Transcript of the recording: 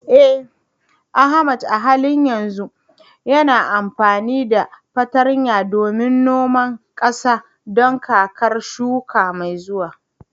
Eh Ahmad a halin yanzu yana amfani da fartanya don noma ƙasa don kakar shuka mai zuwa.